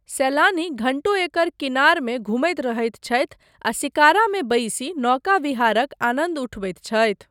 सैलानी घण्टो एकर किनारमे धुमैत रहैत छथि आ शिकारामे बैसि नौका विहारक आनन्द उठबैत छथि।